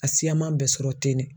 A siyaman bɛ sɔrɔ ten ne